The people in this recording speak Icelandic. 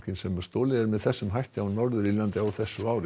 sem er stolið með þessum hætti á Norður Írlandi á þessu ári